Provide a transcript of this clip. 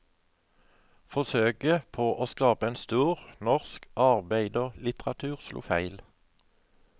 Forsøket på å skape en stor, norsk arbeiderlitteratur slo feil.